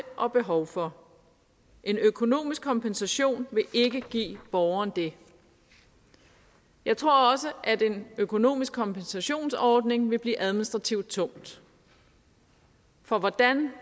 og behov for en økonomisk kompensation vil ikke give borgeren det jeg tror også at en økonomisk kompensationsordning vil blive administrativt tung for hvordan